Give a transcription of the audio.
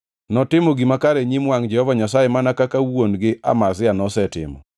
Notimo gima kare e nyim wangʼ Jehova Nyasaye mana kaka wuon-gi Amazia nosetimo.